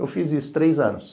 Eu fiz isso três anos.